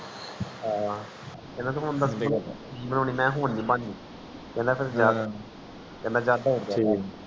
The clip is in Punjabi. ਹਨ ਕਹਿੰਦਾ ਮੈਂ ਕਿਹਾ ਹੁਣ ਨੀ ਬਣਨੀ ਕਹਿੰਦਾ ਫਿਰ ਮੈਂ ਕਿਹਾ ਦੌੜ ਜਾ ਕਰ ਨੂੰ